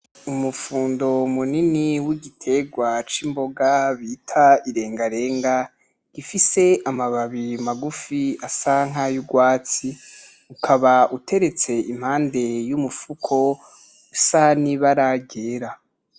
Umufundo munini w'igiterwa c'imbonga irengarenga, gifise amababi magufi asa n'ayurwatsi, ukaba uteretse impande yumufuko usa nibara ryera.